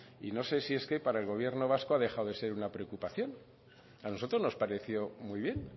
y no sé si es que para el gobierno vasco ha dejado de ser una preocupación a nosotros nos pareció muy bien